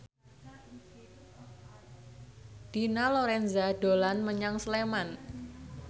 Dina Lorenza dolan menyang Sleman